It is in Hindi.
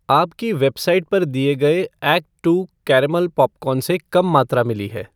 आपकी वेबसाइट पर दिए गए एक्ट टू कारमेल पॉपकॉर्न से कम मात्रा मिली है?